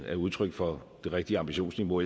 er udtryk for det rigtige ambitionsniveau